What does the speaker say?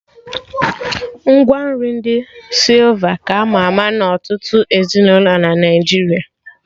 Ngwa nri ndi sịlva ka ama ama na ọtụtụ ezinụlọ na Naijiria